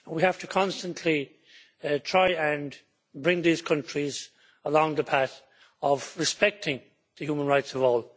We have to constantly try and bring these countries along the path of respecting the human rights of all.